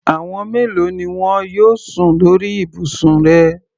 Àwọn mélòo ni wọn yóò sùn lórí ibùsùn rẹ?